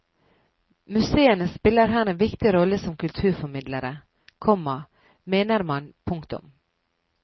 Museene spiller her en viktig rolle som kulturformidlere, komma mener man. punktum